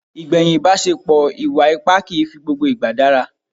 Ìgbẹ̀yìn ìbaṣepò ìwà ipá kìí fi gbogbo ìgbà dára.